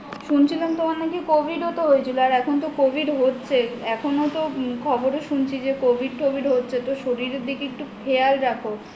শুনছিলাম তোমার নাকি Covid ও তো হয়েছিল আর এখন তো Covid হচ্ছে এখনো তো খবরে শুনছি যে Covid টভিদ হচ্ছে তো শরীরের দিকে একটু খেয়াল রাখো